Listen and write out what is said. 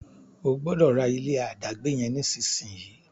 O gbódò rà ilé adagbe yen nísìsiyìí!